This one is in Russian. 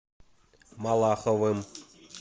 малаховым